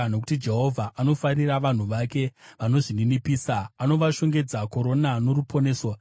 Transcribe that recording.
Nokuti Jehovha anofarira vanhu vake; vanozvininipisa anovashongedza korona noruponeso.